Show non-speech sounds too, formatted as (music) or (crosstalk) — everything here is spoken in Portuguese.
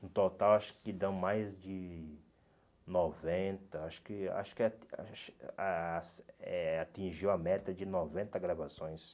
No total, acho que dão mais de noventa, acho que acho que ah acho (unintelligible) eh atingiu a meta de noventa gravações.